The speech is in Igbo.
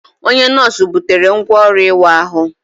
Onye nọọsụ butere ngwá ọrụ ịwa ahụ.